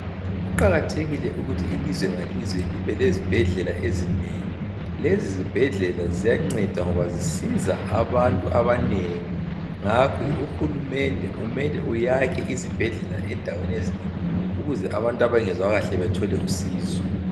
Kuqakathekile ukuthi ilizwe ngalizwe libe ezibhedlela ezinengi. Lezi zibhedlela ziyanceda ngoba zisiza abantu abanengi. Ngakho uhulumende kumele ayakhe izibhedlela endaweni ezinengi ukuze abantu abangezwa kahle bathole usizo.